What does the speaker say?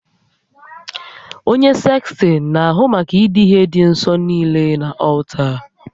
Onye sekstịn na-ahụ maka idiihe dị nsọ niile na ọlta